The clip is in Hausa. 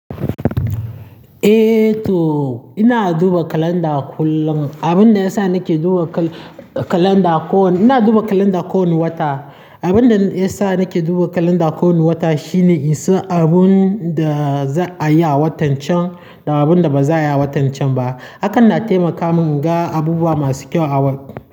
Eh to ina duba kalanda kullum. Abin da ya sa nake duba kal-kalanda ko, ina duba kalanda kowani wata. Abin da ya sa nake duba kalanda kowani wata shine in san abun da za a yi a watan can da abun da ba za a yi a watan can ba. Hakan na taimaka min in ga abubuwa masu kyau a wat.